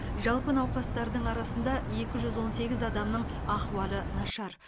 жалпы науқастардың арасында екі жүз он сегіз адамның ахуалы нашар